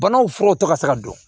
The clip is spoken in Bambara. Banaw furaw tɔ ka se ka don